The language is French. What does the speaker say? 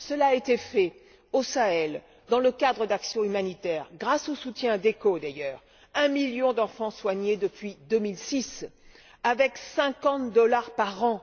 Cela a été fait au Sahel dans le cadre d'actions humanitaires grâce, d'ailleurs, au soutien d'ECHO un million d'enfants soignés depuis 2006 avec 50 dollars par an.